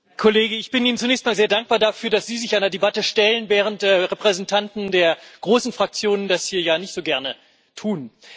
Herr Kollege, ich bin Ihnen zunächst einmal sehr dankbar dafür, dass Sie sich einer Debatte stellen, während Repräsentanten der großen Fraktionen das hier ja nicht so gerne tun.